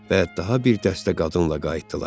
Və daha bir dəstə qadınla qayıtdılar.